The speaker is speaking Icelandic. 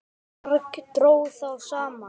Margt dró þá saman.